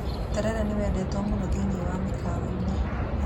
Terere nĩ wendetwo mũno thĩiniĩ wa mĩkawa-inĩ.